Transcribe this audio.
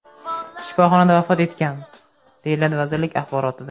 shifoxonada vafot etgan”, deyiladi vazirlik axborotida.